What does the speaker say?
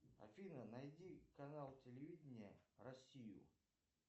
афина найди канал телевидения россию